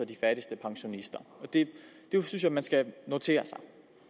de fattigste pensionister det synes jeg man skal notere sig